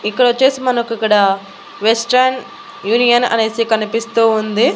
ఇక్కడ వచ్చేసి మనకి ఇక్కడ వెస్టర్న్ యూనియన్ అనేసి కనిపిస్తూ ఉంది.